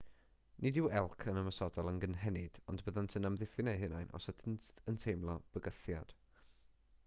nid yw elc yn ymosodol yn gynhenid ond byddant yn amddiffyn eu hunain os ydynt yn teimlo bygythiad